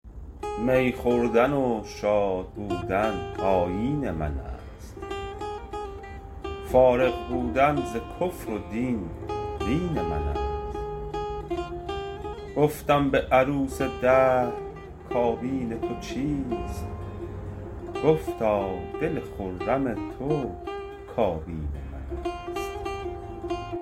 می خوردن و شادبودن آیین من است فارغ بودن ز کفر و دین دین من است گفتم به عروس دهر کابین تو چیست گفتا دل خرم تو کابین من است